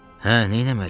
Hə, neyləməli?